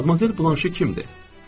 Madamoyzel Blaşe kimdir?